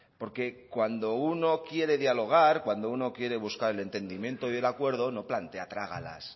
porque cuando uno quiere dialogar cuando uno quiere buscar el entendimiento y el acuerdo no plantea trágalas